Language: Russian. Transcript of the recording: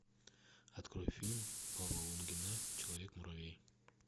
открой фильм павла лунгина человек муравей